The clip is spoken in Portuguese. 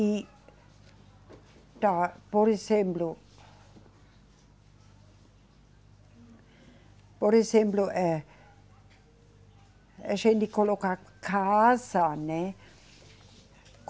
E, tá, por exemplo. Por exemplo, eh, a gente coloca casa, né?